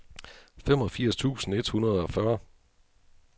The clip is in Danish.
femogfirs tusind et hundrede og fyrre